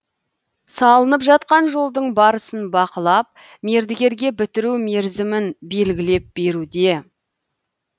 салынып жатқан жолдың барысын бақылап мердігерге бітіру мерзімін белгілеп беруде